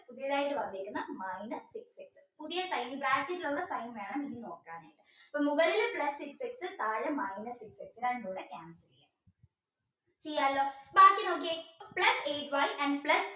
പുതിയ sign വേണം നോക്കാൻ മുകളിൽ plus x താഴെ minus x ഇത് രണ്ടും കൂടെ ചെയ്യാലോ ബാക്കി നോക്കിയേ plus eight y and plus